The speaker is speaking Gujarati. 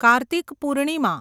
કાર્તિક પૂર્ણિમા